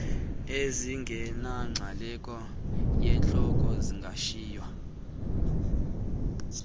ezingeyonxalenye yesihloko zingashiywa